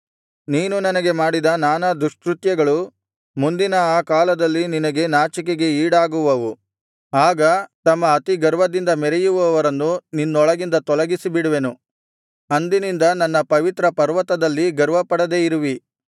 ನೀನು ನನಗೆ ಮಾಡಿದ ನಾನಾ ದುಷ್ಕೃತ್ಯಗಳು ಮುಂದಿನ ಆ ಕಾಲದಲ್ಲಿ ನಿನಗೆ ನಾಚಿಕೆಗೆ ಈಡಾಗುವವು ಆಗ ತಮ್ಮ ಅತಿಗರ್ವದಿಂದ ಮೆರೆಯುವವರನ್ನು ನಿನ್ನೊಳಗಿಂದ ತೊಲಗಿಸಿಬಿಡುವೆನು ಅಂದಿನಿಂದ ನನ್ನ ಪವಿತ್ರಪರ್ವತದಲ್ಲಿ ಗರ್ವಪಡದೆ ಇರುವಿ